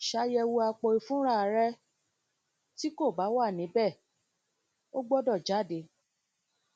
ṣayẹwo apoifunra rẹ ti ko ba wa nibẹ o gbọdọ nibẹ o gbọdọ jade